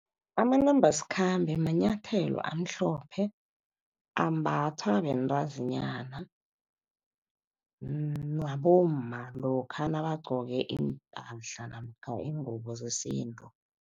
Amanambasikhambe manyathelo amhlophe, ambathwa bentazinyana nabomma lokha nabagcoke iimpahla namkha iingubo zesintu.